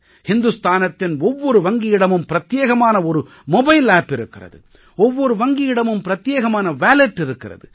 ஹிந்துஸ்தானத்தின் ஒவ்வொரு வங்கியிடமும் பிரத்யேகமான ஒரு மொபைல் ஆப் இருக்கிறது ஒவ்வொரு வங்கியிடமும் பிரத்யேகமான வாலட் இருக்கிறது